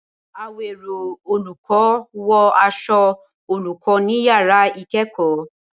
Awero olùkọ́, wọ aṣọ olùkọ́ ní yàrá ìkẹ́kọ̀ọ́.